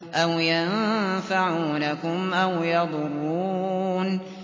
أَوْ يَنفَعُونَكُمْ أَوْ يَضُرُّونَ